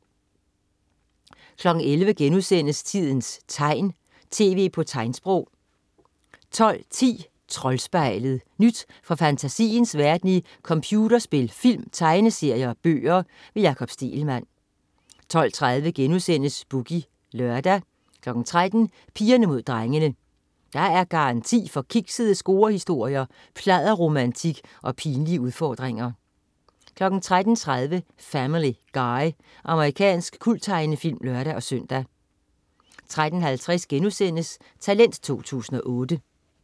11.00 Tidens tegn, tv på tegnsprog* 12.10 Troldspejlet. Nyt fra fantasiens verden i computerspil, film, tegneserier og bøger. Jakob Stegelmann 12.30 Boogie Lørdag* 13.00 Pigerne Mod Drengene. Der er garanti for kiksede scorehistorier, pladderromantik og pinlige udfordringer 13.30 Family Guy. Amerikansk kulttegnefilm (lør-søn) 13.50 Talent 2008*